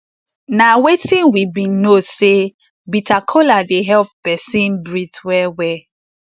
na wetin we bin know say bitter kola dey help peson breath well well